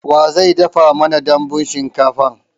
Wa zai dafa mana dambun shinkafan?